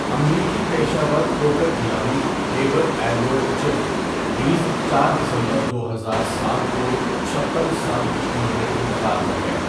امریکی پیشہ ور پوکر کھلاڑی ڈیوڈ ایڈورڈ 'چپ' ریٖز چار دسمبر دو ہزار سات کو چھپن سال کی عمر میں انتقال کر گئے.